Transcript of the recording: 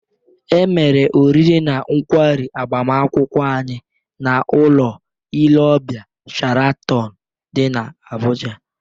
E mere oriri na nkwarị agbamakwụkwọ anyị n'ụlọ ile ọbịa Sharatọn dị n'Abụja